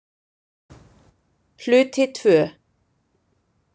Hluti II